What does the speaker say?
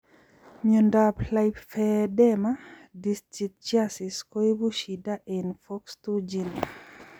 Miondap lymphedema distichiasis koipu shida eng foxc2 gene